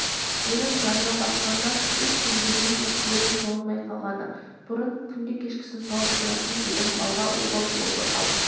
менің жаныма батқаны үш күнге дейін ешкілердің сауылмай қалғаны бұрын күнде кешкісін сауып тұратын едім малға обал болды-ау